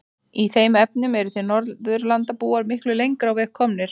Í þeim efnum eruð þið Norðurlandabúar miklu lengra á veg komnir.